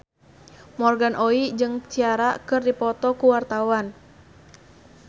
Morgan Oey jeung Ciara keur dipoto ku wartawan